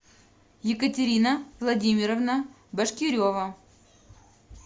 екатерина владимировна башкирева